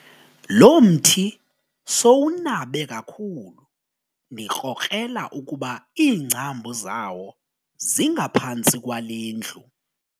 Lo mthi sowunabe kakhulu ndikrokrela ukuba iingcambu zawo zingaphantsi kwale ndlu.